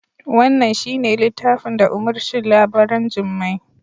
Wannan shi ne littafin da umurcin labaran jarumai